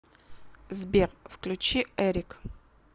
сбер включи эрик